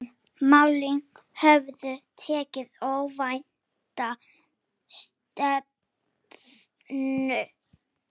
Málin höfðu tekið óvænta stefnu.